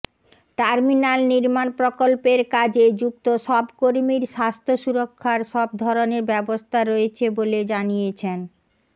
terminal নির্মাণ প্রকল্পের কাজে যুক্ত সব কর্মীর স্বাস্থ্য সুরক্ষার সব ধরনের ব্যবস্থা রয়েছে বলে জানিয়েছেন